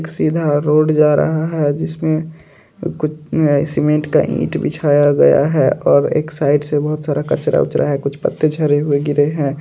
एक सीधा रोड जा रहा है जिसमें कुछ अ सीमेंट का ईट बिछाया गया है और एक साइड से बोहोत सारा कचरा-वचरा है कुछ पत्ते झरे हुए गिरे हैं।